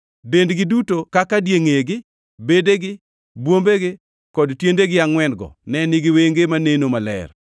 Dendgi duto kaka, diengʼegi, bedegi, bwombegi, kod tiendegi angʼwen-go ne nigi wenge maneno maler.